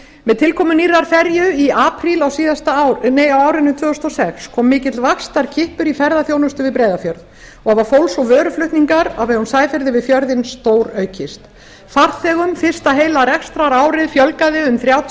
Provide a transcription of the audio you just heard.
með tilkomu nýrrar ferju á árinu tvö þúsund og sex kom mikill vaxtarkippur í ferðaþjónustu við breiðafjörð og var fólks og vöruflutningar á vegum sæferða við fjörðinn stóraukið farþegum fyrsta heila rekstrarárið fjölgaði um þrjátíu